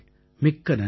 மிக்க நன்றி